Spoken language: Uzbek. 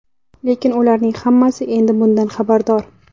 Lekin ularning hammasi endi bundan xabardor.